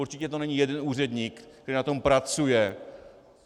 Určitě to není jeden úředník, který na tom pracuje.